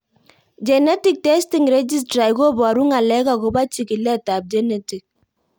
Genetic testing registry koparu ng'alek akopo chig'ilet ab genetic